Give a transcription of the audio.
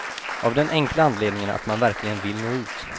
Av den enkla anledningen att man verkligen vill nå ut.